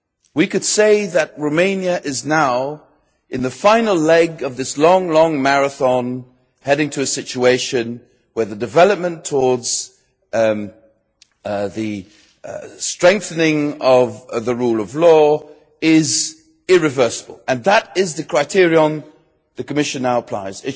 We could say that Romania is now in the final leg of this long, long marathon, heading to a situation where development towards the strengthening of the rule of law is irreversible, and that is the criterion the Commission now applies.